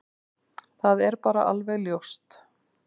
Það er bara alveg ljóst.